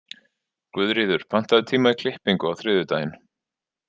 Guðríður, pantaðu tíma í klippingu á þriðjudaginn.